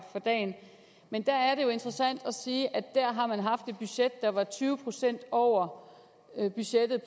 for dagen men der er det jo interessant at se at der har man haft et budget der var tyve procent over budgettet